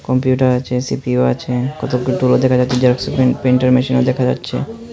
Computer আছে CPU আছে কতগু টুলো দেখা যাস্যে জেরোক্সের পিন প্রিন্টার মেশিনও দেখা যাচ্ছে।